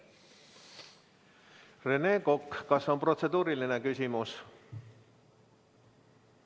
Rene Kokk, kas on protseduuriline küsimus?